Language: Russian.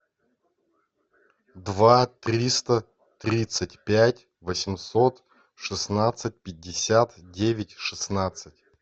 два триста тридцать пять восемьсот шестнадцать пятьдесят девять шестнадцать